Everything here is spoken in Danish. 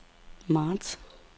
marts